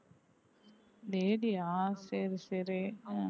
lady ஆ சரி சரி ஆஹ்